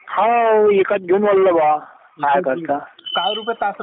हा विकत घेऊन वल्ल बुआ काय करता